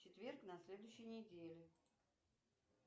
четверг на следующей недели